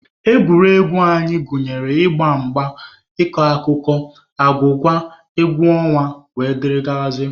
Egwuregwu nke anyị gụnyere ịgba mgba, ịkọ akụkọ, agwụgwa, egwu ọnwa wdg.